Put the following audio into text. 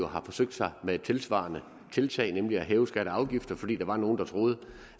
har forsøgt sig med et tilsvarende tiltag nemlig at hæve skatter og afgifter fordi der var nogle der troede